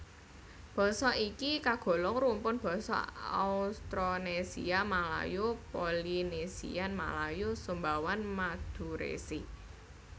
Basa iki kagolong rumpun basa Austronesia Malayo Polynesian Malayo Sumbawan Madurese